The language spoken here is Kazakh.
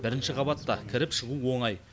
бірінші қабатта кіріп шығу оңай